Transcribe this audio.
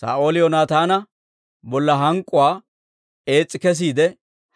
Saa'ooli Yoonataana bolla hank'k'uwaa ees's'i kesiide